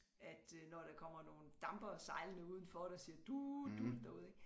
At øh når der kommer nogle dampere sejlende udenfor der siger dut dut derude ik